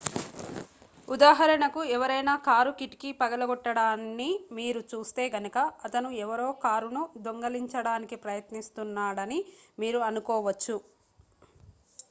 ఉదాహరణకు ఎవరైనా కారు కిటికీ పగలగొట్టడాన్ని మీరు చూస్తే గనుక అతను ఎవరో కారును దొంగిలించడానికి ప్రయత్నిస్తున్నాడని మీరు అనుకోవచ్చు